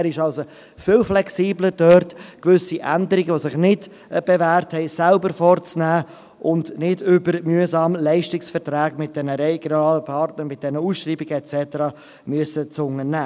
Er ist also viel flexibler, gewisse Änderungen dort vorzunehmen, wo sich etwas nicht bewährt hat, und muss das nicht mühsam über Leistungsverträge mit diesen regionalen Partnern, mit diesen Ausschreibungen machen.